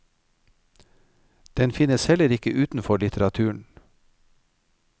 Den finnes heller ikke utenfor litteraturen.